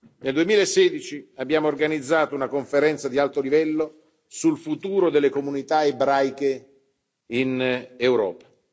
Nel 2016 abbiamo organizzato una conferenza di alto livello sul futuro delle comunità ebraiche in Europa.